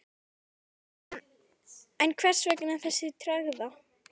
Sindri Sindrason: En hvers vegna þessi tregða?